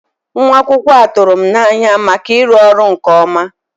Nwa akwụkwọ a tụrụ m n'anya maka ịrụ ọrụ nke ọma.